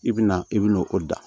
I bɛna i bɛna o da